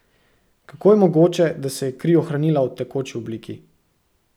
Kako je mogoče, da se je kri ohranila v tekoči obliki?